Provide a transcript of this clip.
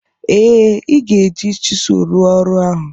Ee, ị ga-eji chisụl rụọ ọrụ ahụ